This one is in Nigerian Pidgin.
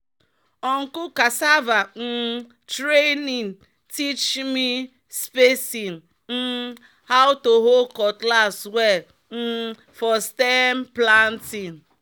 "uncle cassava um training teach me spacing um and how to hold cutlass well um for stem planting."